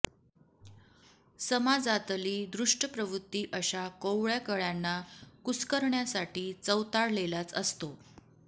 समाजातली दुष्ट प्रवृत्ती अशा कोवळ्या कळ्यांना कुस्करण्यासाठी चवताळलेलाच असतो